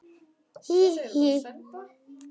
Hí, hí.